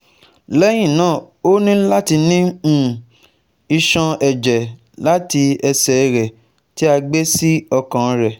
Lẹhinna o ni lati ni um iṣọn-ẹjẹ lati ẹsẹ rẹ ti a gbe si ọkan rẹ